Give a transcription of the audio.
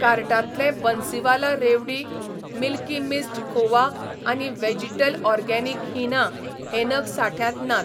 कार्टांतले बन्सीवाला रेवडी, milky mist खोवा आनी व्हॅजीटल ऑरगॅनीक हीना हे नग सांठ्यांत नात